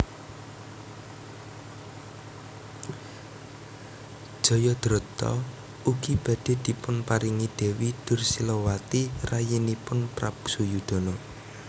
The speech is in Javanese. Jayadrata ugi badhe dipunparingi Dewi Dursilawati rayinipun Prabu Suyudana